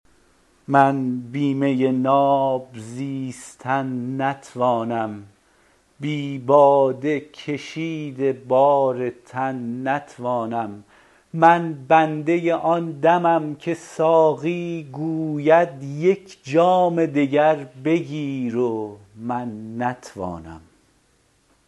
من بی می ناب زیستن نتوانم بی باده کشید بار تن نتوانم من بنده آن دمم که ساقی گوید یک جام دگر بگیر و من نتوانم